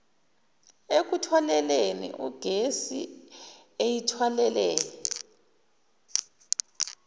ekuthwaleni igesi eyithwalele